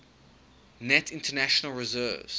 net international reserves